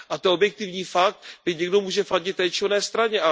A to je objektivní fakt, byť někdo může fandit té či oné straně.